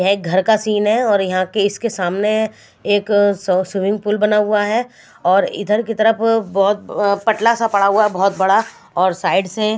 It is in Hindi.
यह घर का सीन है और यहां के इसके सामने एक स्विमिंग पूल बना हुआ है और इधर की तरफ बहुत पटला सा पड़ा हुआ है बहुत बड़ा और साइड से।